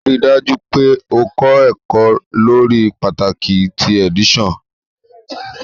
Rii daju pe o kọ ẹkọ lori pataki ti edition